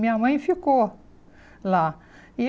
Minha mãe ficou lá. E